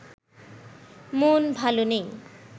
মন ভালো নেই